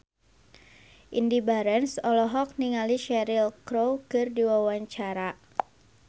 Indy Barens olohok ningali Cheryl Crow keur diwawancara